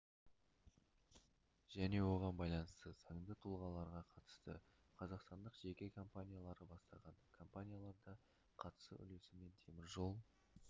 және оған байланысты заңды тұлғаларға қатысты қазақстандық жеке компаниялары бастаған компанияларда қатысу үлесі мен теміржол